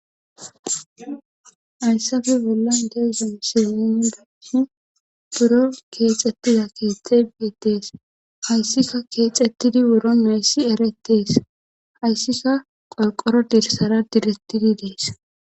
Hayssafe bolla dewuza misilmindas buro keexetida keexxe biitees hayssika keexettidi buro meessi eretees hayssika qolqoro dirsara direttidi dees